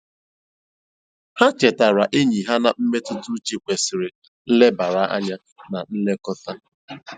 Ha chetaara enyi ha na mmetụtauche kwesịrị nlebara anya na nlekọta.